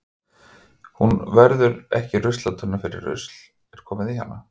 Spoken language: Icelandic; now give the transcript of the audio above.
Hún verður ekki ruslatunna fyrr en rusl er komið í hana.